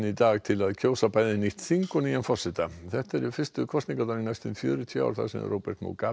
í dag til að kjósa bæði nýtt þing og nýjan forseta þetta eru fyrstu kosningarnar í næstum fjörutíu ár þar sem Robert